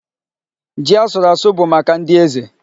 Ji a sụrụ asụ bụ maka ndị eze.